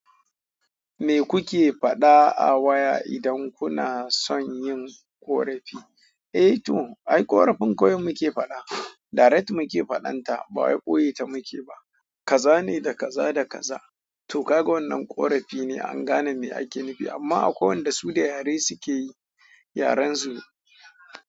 Me kuke faɗa a waya idan kuna son yin ƙorafi? Eh to ai ƙorafin kawai muke faɗa, direct muke faɗanta ba waye ɓoye ta muke ba. Kaza ne da kaza da kaza to kaga wannan ƙorafi ne an gane me ake nufi amma akwai wanda su da yare suke yi yaren su.